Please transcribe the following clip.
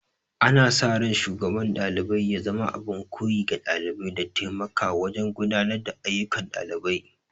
Ana sa ran Shugaban ɗalibai ya zama abin koyi ga ɗalibai, da taimaka wajen gudanar da ayyukan ɗalibai.